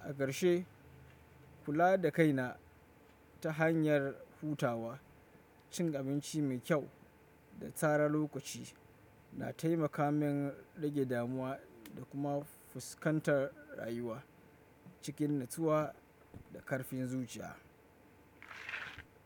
A ƙarshe, kula da kaina ta hanyar hutawa, cin abinci mai kyau da tsara lokaci na taimaka min rage damuwa da kuma fuskantar rayuwa cikin natsuwa da ƙarfin zuciya.